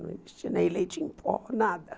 Não existia nem leite em pó, nada.